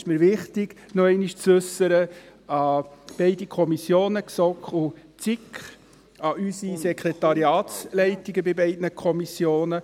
Es ist mir wichtig, diesen noch einmal zu äussern, an beide Kommissionen, GSoK und SiK, an unsere Sekretariatsleitungen der beiden Kommissionen.